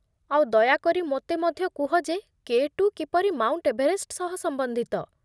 ଆଉ ଦୟାକରି ମୋତେ ମଧ୍ୟ କୁହ ଯେ କେ ଟୁ କିପରି ମାଉଣ୍ଟ୍ ଏଭରେଷ୍ଟ୍ ସହ ସମ୍ବନ୍ଧିତ ।